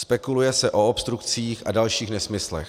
Spekuluje se o obstrukcích a dalších nesmyslech.